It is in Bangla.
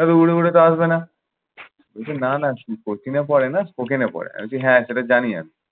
আমি তা হবে না। না না পড়ে না ওখানে পড়ে। আমি বলছি হ্যাঁ সেটা জানি আমি।